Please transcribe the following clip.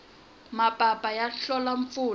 mapapu ya hlola mpfula